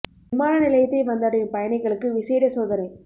விமான நிலையத்தை வந்தடையும் பயணிகளுக்கு விசேட சோதனை